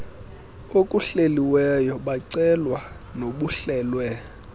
okuhleliweyo bacelwa nobuhlelwe